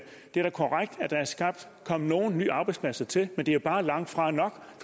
kommet nye arbejdspladser til men det er bare langtfra nok